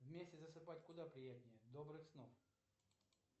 вместе засыпать куда приятнее добрых снов